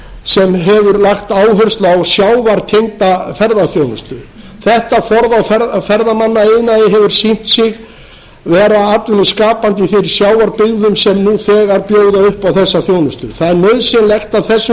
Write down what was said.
sem hefur lagt áherslu á sjávartengda ferðaþjónustu þetta form á ferðamannaiðnaði hefur sýnt sig vera atvinnuskapandi í þeim sjávarbyggðum sem nú þegar bjóða upp á þessa þjónustu það er nauðsynlegt að þessum